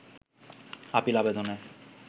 appeal আবেদনে